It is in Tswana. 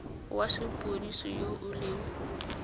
wa sepodisi yo o leng